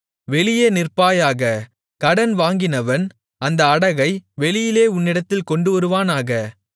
வெளியே நிற்பாயாக கடன் வாங்கினவன் அந்த அடகை வெளியே உன்னிடத்தில் கொண்டுவருவானாக